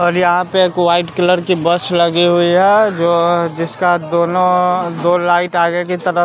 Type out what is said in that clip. और यहां पर वाइट कलर की बस लगी हुए है जो जिसका दोनों दो लाइट आगे की तरफ--